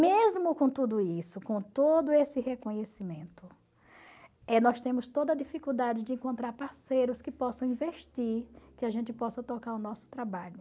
Mesmo com tudo isso, com todo esse reconhecimento, eh nós temos toda dificuldade de encontrar parceiros que possam investir, que a gente possa tocar o nosso trabalho.